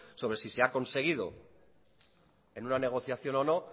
sobre si se ha conseguido en una negociación o no